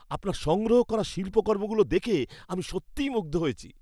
আপনার সংগ্রহ করা শিল্পকর্মগুলো দেখে আমি সত্যিই মুগ্ধ হয়েছি।